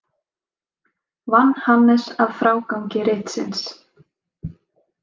Vann Hannes að frágangi ritsins.